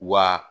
Wa